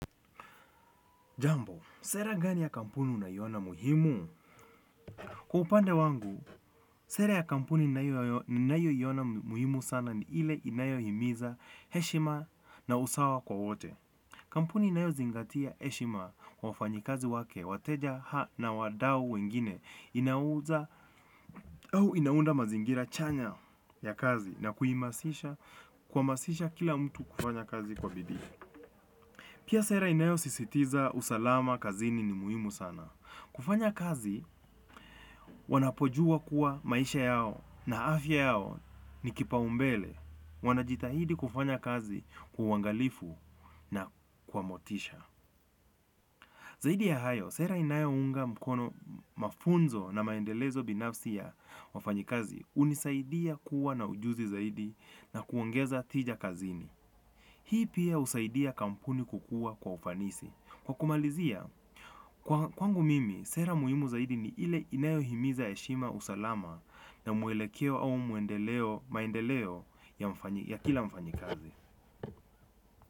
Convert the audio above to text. Jambo, sera gani ya kampuni unayona muhimu? Kwa upande wangu, sera ya kampuni ninayona muhimu sana ni ile inayohimiza heshima na usawa kwa wote. Kampuni unayozingatia heshima kwa wafanyi kazi wake, wateja ha na wadau wengine, inaunda mazingira chanya ya kazi na kuhamasisha kila mtu kufanya kazi kwa bidii. Pia sera inayosisitiza usalama kazini ni muhimu sana. Kufanya kazi wanapojua kuwa maisha yao na afya yao ni kipa umbele. Wanajitahidi kufanya kazi kwa uwangalifu na kwa motisha. Zaidi ya hayo, sera inayo unga mkono mafunzo na maendelezo binafsi ya wafanyikazi. Unisaidia kuwa na ujuzi zaidi na kuongeza tija kazini. Hii pia husaidia kampuni kukua kwa ufanisi. Kwa kumalizia, kwangu mimi, sera muhimu zaidi ni ile inayohimiza eshima usalama na mwelekeo au maendeleo ya kila mfanyikazi.